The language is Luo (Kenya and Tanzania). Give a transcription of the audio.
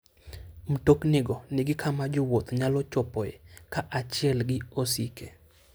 Mtoknigo nigi kama jowuoth nyalo chopoe kaachiel gi osike.